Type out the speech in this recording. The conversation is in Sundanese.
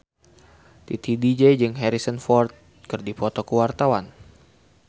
Titi DJ jeung Harrison Ford keur dipoto ku wartawan